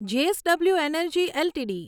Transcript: JSW energy LTD